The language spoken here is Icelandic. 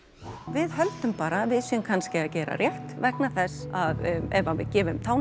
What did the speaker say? við höldum bara að við séum kannski að gera rétt vegna þess að ef við gefum